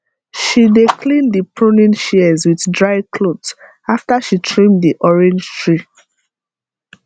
she dey clean the pruning shears with dry cloth after she trim the orange tree